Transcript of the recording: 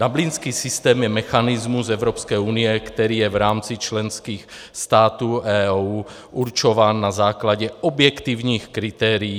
Dublinský systém je mechanismus Evropské unie, který je v rámci členských států EU určován na základě objektivních kritérií.